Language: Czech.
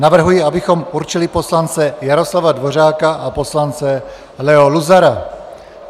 Navrhuji, abychom určili poslance Jaroslava Dvořáka a poslance Leo Luzara.